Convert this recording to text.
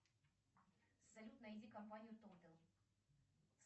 салют найди компанию тотал